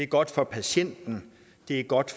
godt for patienterne det er godt